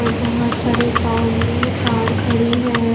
और बहोत सारे ग्राउंड में कार खड़ी हैं।